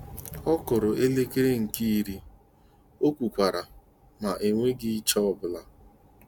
" Ọkụrụ elekere nkè iri ," okwu kwaara," ma enweghị iche obula!